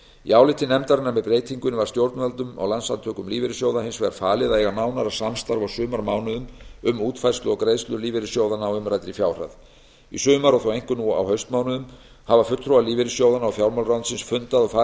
í áliti nefndarinnar með breytingunni var stjórnvöldum og landssamtökum lífeyrissjóða hins vegar falið að eiga nánara samstarf á sumarmánuðum um útfærslu og greiðslur lífeyrissjóðanna á umræddri fjárhæð í sumar og þó einkum nú á haustmánuðum hafa fulltrúar lífeyrissjóðanna og fjármálaráðuneytisins fundað og farið